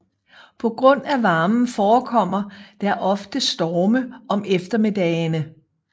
På grund af varmen forekommer der ofte storme om eftermiddagene